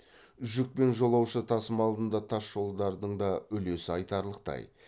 жүк пен жолаушы тасымалында тасжолдардың да үлесі айтарлықтай